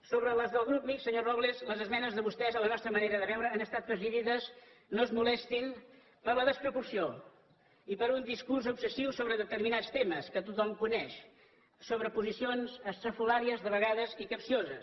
sobre les del grup mixt senyor robles les esmenes de vostès a la nostra manera de veure han estat presidides no es molestin per la desproporció i per un discurs obsessiu sobre determinats temes que tothom coneix sobre posicions estrafolàries de vegades i capcioses